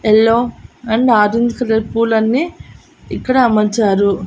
Yellow and orange colour పూలన్నీ ఇక్కడ అమర్చారు.